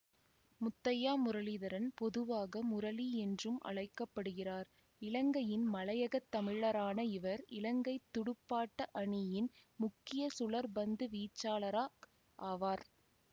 முத்தையா முரளிதரன் பொதுவாக முரளி என்றும் அழைக்க படுகிறார் இலங்கையின் மலையகத் தமிழரான இவர் இலங்கை துடுப்பாட்ட அணியின் முக்கிய சுழற் பந்து வீச்சாளரா ஆவார்